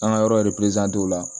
An ka yɔrɔ la